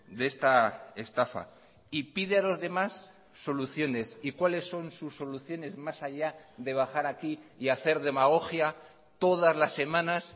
de esta estafa y pide a los demás soluciones y cuáles son sus soluciones más allá de bajar aquí y hacer demagogia todas las semanas